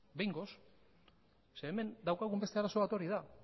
behingoz zeren hemen daukagun beste arazo bat hori da